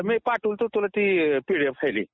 मी पाठवतो तुला ते पीडीएफ फायली